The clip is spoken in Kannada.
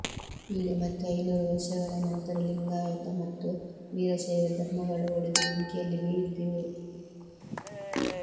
ಈಗ ಮತ್ತೆ ಐನೂರು ವರ್ಷಗಳ ನಂತರ ಲಿಂಗಾಯತ ಮತ್ತು ವೀರಶೈವ ಧರ್ಮಗಳು ಒಡೆದು ಬೆಂಕಿಯಲ್ಲಿ ಬೇಯುತ್ತಿವೆ